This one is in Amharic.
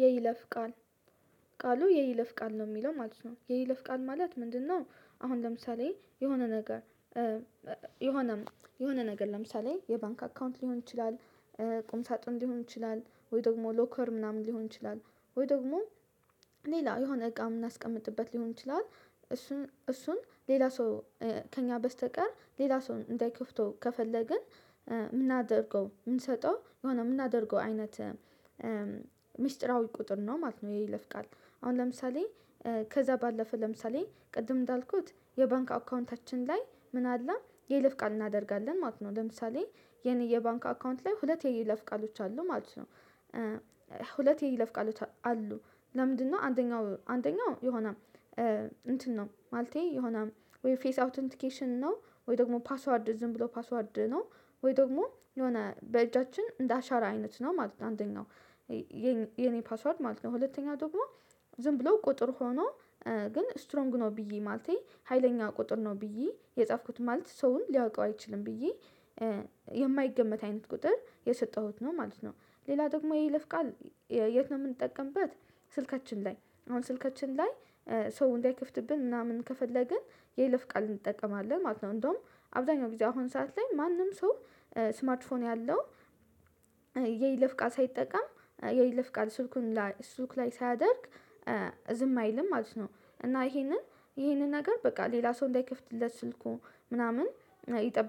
የይለፍ ቃል ቃሉ የይለፍ ቃል ነው የሚለው ማለት ነው የይለፍ ቃል ማለት ምንድነው? አሁን ለምሳሌ የሆነ ነገር። የሆነ የሆነ ነገር ለምሳሌ የባንክ አካውንት ሊሆን ይችላል ቁም ሳጥን ሊሆን ይችላል ወይ ደግሞ ሎከር ምናምን ሊሆን ይችላል ወይ ደግሞ ሌላ የሆነ እቃ የምናስቀምጥበት ሊሆን ይችላል። እሱን እሱን ሌላ ሰው ከእኛ በስተቀር ሌላ ሰው እንዳይከፍተው ከፈለግን። የምናደርገው የምንሰጠው የሆነ የምናደርገው አይነት ሚስጥራዊ ቁጥር ነው ማለት ነው። ይለፍቃል አሁን ለምሳሌ ከዛ ባለፈ ለምሳሌ ቅድም እንዳልኩት የባንክ አካውንታችን ላይ ምን አለ የይለፍ ቃል እናደርጋለን ማለት ነው። ለምሳሌ የኔ የባንክ አካውንት ላይ ሁለት የይለፍ ቃሎች አሉ ማለት ነው። ሁለት የይለፍ ቃሎች አሉ? ለምንድነው አንደኛው አንደኛው የሆነ እንትን ነው ማለቴ የሆነ ወይ ፌስ አውተንቲኬሽን ነው ወይ ደግሞ ፓስዋርድ ዝም ብሎ ፓስዋርድ ነው ወይ ደግሞ የሆነ በእጃችን እንደ አሻራ አይነት ነው ማለት ነው። አንደኛው የኔ ፓስዋርድ ማለት ነው ሁለተኛ ደግሞ ዝም ብሎ ቁጥር ሆኖ ግን ስትሮንግ ነው ብዬ ማለቴ ሀይለኛ ቁጥር ነው ብዬ የጻፍኩት ማለት ሰውን ሊያውቀው አይችልም ብዬ የማይገመት አይነት ቁጥር የሰጠሁት ነው ማለት ነው። ሌላ ደግሞ የይለፍ ቃል የት ነው የምንጠቀምበት? ስልካችን ላይ አሁን ስልካችን ላይ ሰው እንዳይከፍትብን ምናምን ከፈለግን የይለፍ ቃል እንጠቀማለን ማለት ነው። እንደውም አብዛኛው ጊዜ አሁን ሰዓት ላይ ማንም ሰው ስማርት ፎን ያለው። የይለፍ ቃል ሳይጠቀም የይለፍ ቃል ስልኩን ላይ ስልኩ ላይ ሳያደርግ ዝም አይልም ማለት ነው። እና ይሄንን ይሄንን ነገር በቃ ሌላ ሰው እንዳይከፍትለት ስልኩ ምናምን ይጠብ